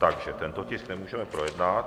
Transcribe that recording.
Takže tento tisk nemůžeme projednat.